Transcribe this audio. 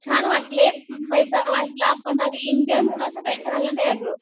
छान वाटले पैसा वाचला पण एन्जॉय म्हणून असं काही झालं नाही अगं.